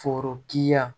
Forokiya